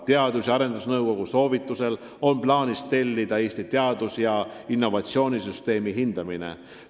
Teadus- ja arendusnõukogu soovitusel on plaanis tellida Eesti teadus- ja innovatsioonisüsteemi hindamine.